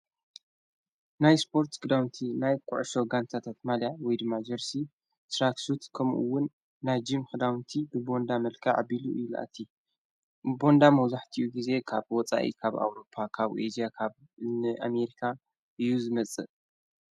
ናይ ስጶርት ግዳውንቲ ናይ ቊዑሶ ጋንታታኣት ማልያ ዊይድ ማ ጀርሲ ትራክሱት ከምኡውን ናይ ጅም ክዳውንቲ ብቦንዳ መልካዓቢሉ ዩልእቲ ቦንዳ መውዙሕቲኡ ጊዜ ኻብ ወፃኢ ካብ ኣውሮጳ ካብኡ ኤስያ ካብ ንኣሜሪካ ዩዝ መጽእ።